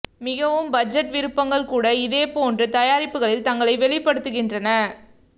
மிகவும் பட்ஜெட் விருப்பங்கள் கூட இதே போன்ற தயாரிப்புகளில் தங்களை வெளிப்படுத்துகின்றன